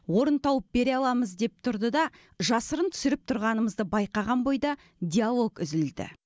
орын тауып бере аламыз деп тұрды да жасырын түсіріп тұрғанымызды байқаған бойда диалог үзілді